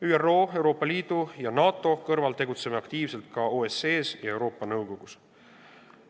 ÜRO, Euroopa Liidu ja NATO kõrval tegutseme aktiivselt ka OSCE-s ja Euroopa Nõukogus.